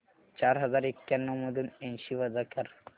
चार हजार एक्याण्णव मधून ऐंशी वजा कर